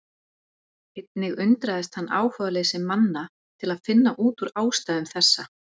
Einnig undraðist hann áhugaleysi manna til að finna út úr ástæðum þessa.